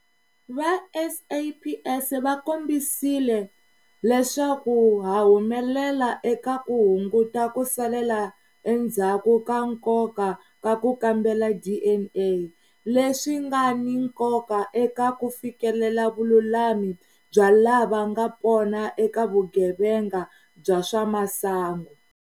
Va SAPS va kombisile leswaku ha humelela eka ku hunguta ku salela endzhaku ka nkoka ka ku kambela DNA, leswi nga ni nkoka eka ku fikelela vululami bya lavanga pona eka vugevenga bya swa masangu.